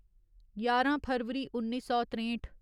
ञारां फरवरी उन्नी सौ त्रेंठ